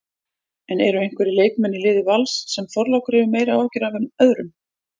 En eru einhverjir leikmenn í liði Vals sem Þorlákur hefur meiri áhyggjur af en öðrum?